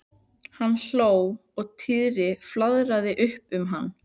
Hann hló og Týri flaðraði upp um hann.